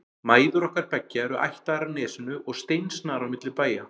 Mæður okkar beggja eru ættaðar af Nesinu og steinsnar á milli bæja.